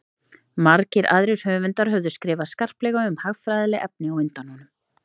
margir aðrir höfundar höfðu skrifað skarplega um hagfræðileg efni á undan honum